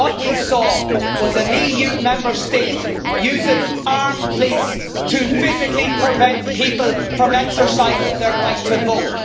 What we saw was an EU Member State using armed police to physically prevent people from exercising their right to vote.